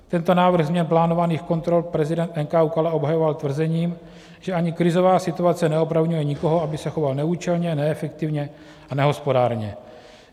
Tento návrh změn plánovaných kontrol prezident NKÚ Kala obhajoval tvrzením, že ani krizová situace neopravňuje nikoho, aby se choval neúčelně, neefektivně a nehospodárně.